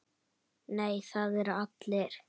Nei, það eru allir.